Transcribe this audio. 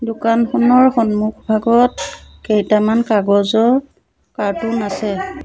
দোকানখনৰ সন্মুখ ভাগত কেইটামান কাগজৰ কাৰ্টুন আছে।